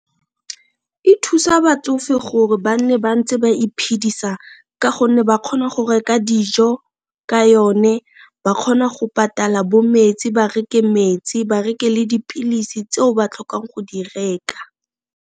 E thusa batsofe gore ba nne bantse ba iphedisa ka gonne ba kgona go reka dijo ka yone, ba kgona go patala bo metsi ba reke metsi, ba reke le dipilisi tseo ba tlhokang go di reka.